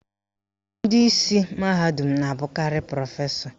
Ndị isi mahadum na-abụkarị prọfesọ